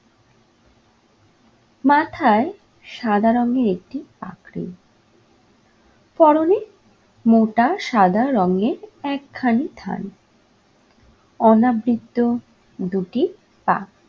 মাথায় সাদা রংয়ের একটি পাগড়ি, পরনে মোটা সাদা রঙের একখানি থান, অনাবৃত্ত দুটি পা।